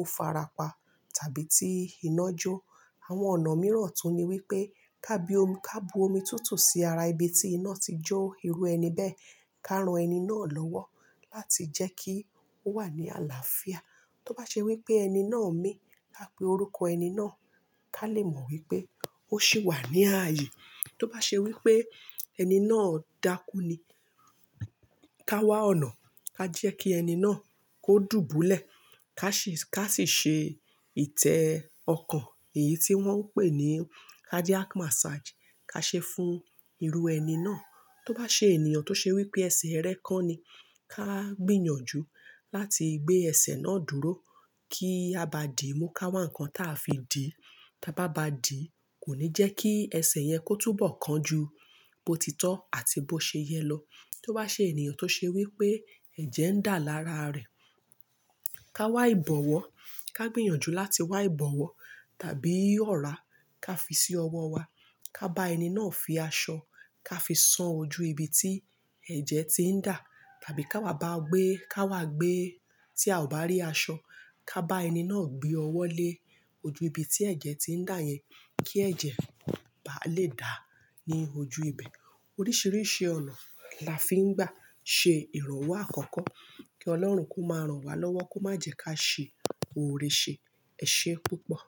ó farapa tàbí tí iná jó. Àwọn ọ̀nà mìíràn tún ni wípé ká bu omi tútù sí ara ibi tí iná ti jó irú ẹni bẹ́ẹ̀. Ká ran ẹni náà lọ́wọ́ láti jẹ́ kí ó wà ní àlàáfíà. Tó bá ṣe wípé ẹni náà ń mí, ká pe orúkọ ẹni náà. Ká lè mọ wípé ó sì wà ní ààyè. Tó bá ṣe wípé ẹni náà dákú ni, ká wá ọ̀nà, ká jẹ́ kí ẹni náà kó dùbúlẹ̀. Ká sì, ká sì ṣe ìtẹ́ ọko. Èyí tí wọ́n ń pè ní cardiac massage. Ká ṣe fún irú ẹni náà. Tó bá ṣe ènìyàn tó ṣe wípé ẹsẹ̀ rẹ kán ni, ká gbìyànjú láti gbé ẹsẹ̀ náà dúró. Ki a ba di, mú ká wá nǹkan táa fi dì. Tábá bá dì, kò ní jẹ́ kí ẹsẹ̀ yẹn kó túbọ̀ọ́ kán ju, bó ti tọ́ àti bó ṣe yẹ lọ. Tó bá ṣe ènìyàn tó ṣe wípé ẹ̀jẹ̀ ń dà lára rẹ̀, ká wá ìbọwọ́. Ká gbìyànjú láti wá ìbọwọ́. Tàbí ọ̀rá ká fi sí ọwọ́ wa. Ká bá ẹni náà fi aṣọ, ká fi san ojú ibi tí ẹ̀jẹ̀ ti ń dà. Tàbí ká wá bá gbé, ká wá gbé tí a ò bá rí aṣọ, ká bá ẹni náà gbé ọwọ́ lé ojú ibi tí ẹ̀jẹ̀ ti ń dà yẹn kí ẹ̀jẹ̀ bá lè dà ní ojú ibẹ̀. Oríṣiríṣi ọ̀nà la fi ń gbà ṣe ìrànwọ́ àkọ́kọ́. Kí Ọlọ́run kó máa ràn wá lọ́wọ́, kó má jẹ́ ká ṣe ore ṣe. Ẹ ṣe é púpọ̀.